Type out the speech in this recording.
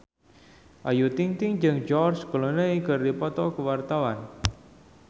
Ayu Ting-ting jeung George Clooney keur dipoto ku wartawan